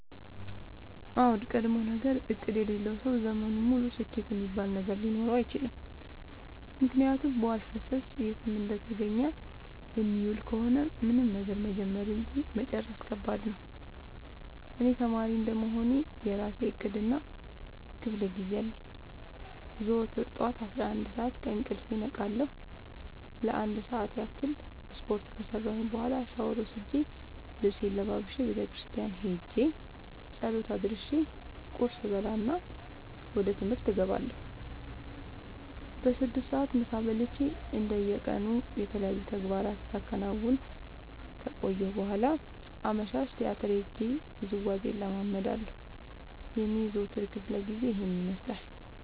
አዎድ ቀድሞነገር እቅድ የሌለው ሰው ዘመኑን ሙሉ ስኬት እሚባል ነገር ሊኖረው አይችልም። ምክንያቱም በዋልፈሰስ የትም እንደተገኘ የሚውል ከሆነ ምንም ነገር መጀመር እንጂ መጨረስ ከባድ ነው። እኔ ተማሪ እንደመሆኔ የእራሴ እቅድ እና ክፋለጊዜ አለኝ። ዘወትር ጠዋት አስራአንድ ሰዓት ከእንቅልፌ እነቃለሁ ለአንድ ሰዓት ያክል ስፓርት ከሰራሁኝ በኋላ ሻውር ወስጄ ልብሴን ለባብሼ ቤተክርስቲያን ኸጄ ፀሎት አድርሼ ቁርስ እበላና ወደ ትምህርት እገባለሁ። በስድስት ሰዓት ምሳ በልቼ እንደ የቀኑ የተለያዩ ተግባራትን ሳከናውን ከቆየሁ በኋላ አመሻሽ ቲያትር ሄጄ ውዝዋዜ እለምዳለሁ የኔ የዘወትር ክፍለጊዜ ይኸን ይመስላል።